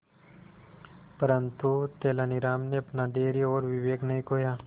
परंतु तेलानी राम ने अपना धैर्य और विवेक नहीं खोया